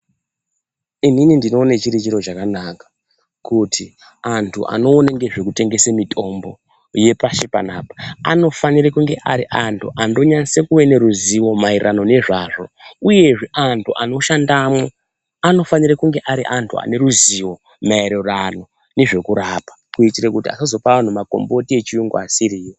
Inini ndinoona chiri chiro chakanaka kuti antu anokone ngezvekutengese mitombo yepashi panapa anofanira kunge ari antu andonyase kuva neruzivo maererano nezvazvo uyezve antu anoshandamwo anofanira kunge ari antu aneruzivo maererano nezvekurapa kuti asazopa anhu makomboti echirungu asiriwo.